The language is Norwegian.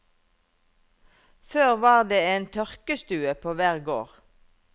Før var det en tørkestue på hver gård.